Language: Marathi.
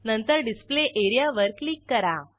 नंतर डिस्प्ले एरियावर क्लिक करा